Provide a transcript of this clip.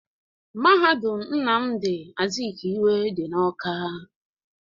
Mahadum Nnamdi Azikwe dị n'Awka